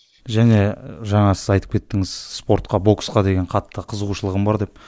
және жаңа сіз айтып кеттіңіз спортқа боксқа деген қатты қызығушылығым бар деп